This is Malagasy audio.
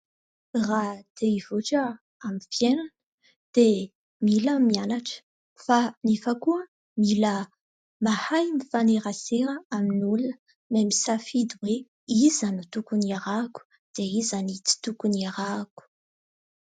Raha te hivoatra amin'ny fiainana dia mila mianatra fa nefa koa mila mahay mifanerasera amin'ny olona mamisafidy hoe iza no tokon'ny arahako dia iza ny tsy tokon'ny arahako